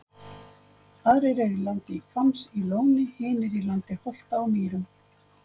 Aðrir eru í landi Hvamms í Lóni, hinir í landi Holta á Mýrum.